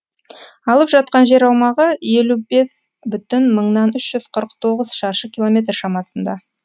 алып жатқан жер аумағы елу бес бүтін мыңнан үш жүз қырық тоғыз шаршы километр шамасында